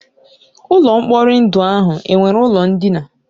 Ụlọ mkpori ndụ ahụ enwere ụlọ ndina?